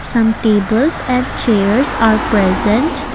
Some tables at chairs are present.